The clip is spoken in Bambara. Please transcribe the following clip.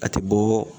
A tɛ bɔ